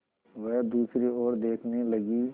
वह दूसरी ओर देखने लगी